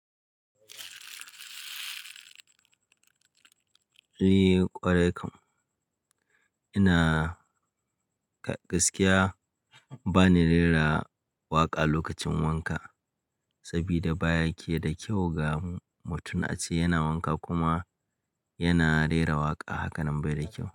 Ehh ƙwarai kam. Ina, gaskiya bani rera waƙa lokacin wanka, sabida baya ke da kyau ga mutum a ce yana wanka kuma yana rera waƙa hakanan bai da kyau.